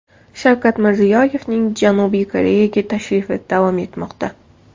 Shavkat Mirziyoyevning Janubiy Koreyaga tashrifi davom etmoqda.